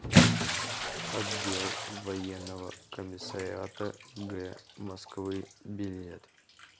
отдел военного комиссариата г москвы билет